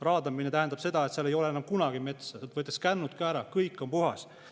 Raadamine tähendab seda, et seal ei ole enam kunagi metsa, kännud võetakse ka ära, kõik on puhas.